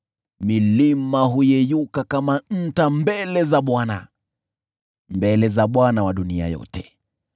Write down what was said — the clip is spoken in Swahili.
Milima huyeyuka kama nta mbele za Bwana , mbele za Bwana wa dunia yote.